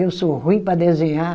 Eu sou ruim para desenhar.